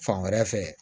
Fan wɛrɛ fɛ